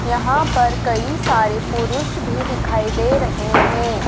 यहां पर कई सारे पुरुष भी दिखाई दे रहे हैं।